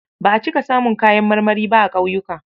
Ba a cika samun kayan marmari ba a ƙauyuka.